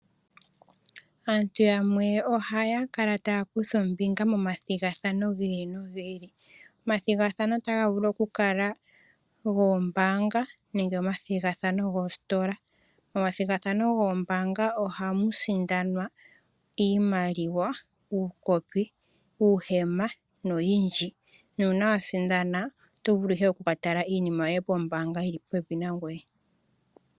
Aantu yamwe ohaya kala taya kutha ombinga momathigathano gi ili nogi ili. Omathigathano otaga vulu okukala goombaanga nenge omathigathano goositola. Momathigathano goombaanga ohamu sindanwa iimaliwa, uukopi, uuhema noyindji. Nuuna wa sindana oto vulu ihe oku ka tala iinima yoye pombaanga yi li popepi nangoye.